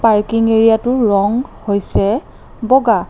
Parking এৰিয়াটোৰ ৰং হৈছে বগা।